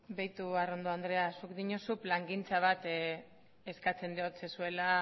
beitu arrondo andrea zuk diozu plangintza bat eskatzen diozuela